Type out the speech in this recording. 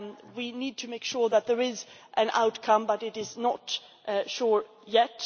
We need to make sure that there is an outcome, but it is not certain yet.